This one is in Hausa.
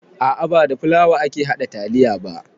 A'a ba da fulawa ake haɗa taliya ba